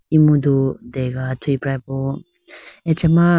emudu dega athuyi prapo echi ma.